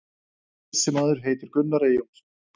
Þessi maður heitir Gunnar Eyjólfsson.